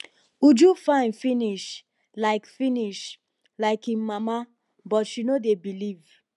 uju fine finish like finish like im mama but she no dey believe